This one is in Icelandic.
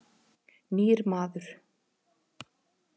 Nýr maður.